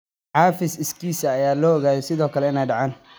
Cafis iskiis ah ayaa sidoo kale la ogaaday inay dhacaan.